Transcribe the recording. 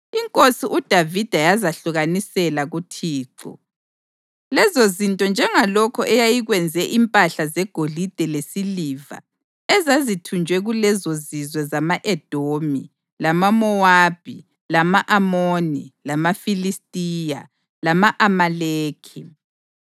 Inkosi uDavida yazahlukanisela kuThixo, lezo zinto njengalokho eyayikwenze impahla zegolide lesiliva ezazithunjwe kulezozizwe zama-Edomi lamaMowabi, lama-Amoni, lamaFilistiya lama-Amaleki.